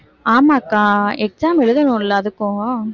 ஆமாக்கா exam எழுதணும்ல அதுக்கும்